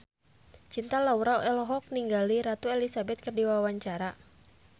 Cinta Laura olohok ningali Ratu Elizabeth keur diwawancara